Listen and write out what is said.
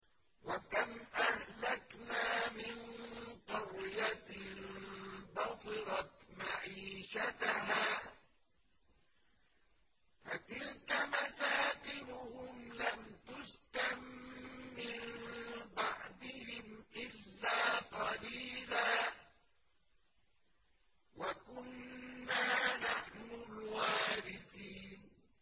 وَكَمْ أَهْلَكْنَا مِن قَرْيَةٍ بَطِرَتْ مَعِيشَتَهَا ۖ فَتِلْكَ مَسَاكِنُهُمْ لَمْ تُسْكَن مِّن بَعْدِهِمْ إِلَّا قَلِيلًا ۖ وَكُنَّا نَحْنُ الْوَارِثِينَ